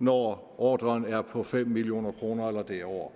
når ordren er på fem million kroner eller derover